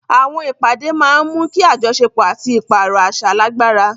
Àwọn ìpàdé máa ń mú kí àjọṣepọ̀ àti ìpààrọ̀ àṣà lágbára.